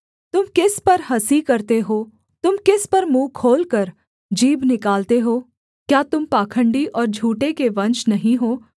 तुम किस पर हँसी करते हो तुम किस पर मुँह खोलकर जीभ निकालते हो क्या तुम पाखण्डी और झूठे के वंश नहीं हो